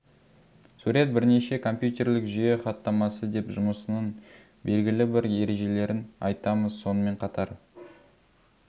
сурет бірнеше компьютерлік жүйе хаттамасы деп жұмысының белгілі бір ережелерін айтамыз сонымен қатар